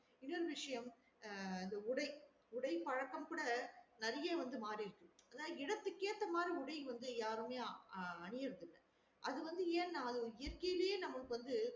இனொரு விசியம் ஆஹ் இந்த உடை உடை பழக்கம் கூட நெறையா வந்து மாறிருச்சு அதே தான் இடத்துக்கு ஏத்த மார் உடை வந்து யாருமே அ அணியிறது இல்ல அது வந்து ஏன்னா இயற்கையிலையே நமக்கு வந்து